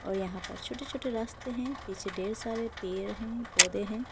यहां पर छोटे छोटे रास्ते हैं पीछे ढेर सारे पेड़ हैं पौधे हैं।